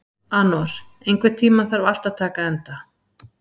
Anor, einhvern tímann þarf allt að taka enda.